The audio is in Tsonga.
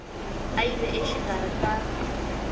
a yi ve exikarhi ka